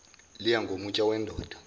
liya ngomutsha wendoda